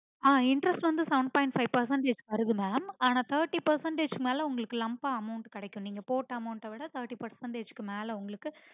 அஹ் interest வந்து seven point five percentage வருது mam ஆனா thirty percentage மேல உங்களுக்கு lump ஆ amount கிடைக்கும் உங்களுக்கு போட்ட amount விட thirty percentage இக்கு மேல உங்களுக்கு